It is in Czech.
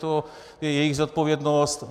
To je jejich zodpovědnost.